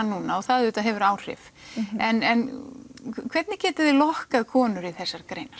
núna og það auðvitað hefur áhrif en hvernig getiði lokkað konur í þessar greinar